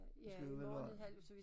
Så skal vi vel være